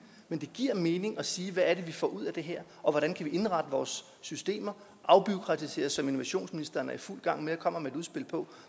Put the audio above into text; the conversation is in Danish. men det giver mening at sige hvad er det vi får ud af det her og hvordan kan vi indrette vores systemer og afbureaukratisere som innovationsministeren er i fuld gang med og kommer med et udspil på